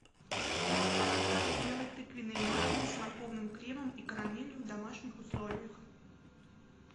как сделать тыквенные маффины с морковным кремом и карамелью в домашних условиях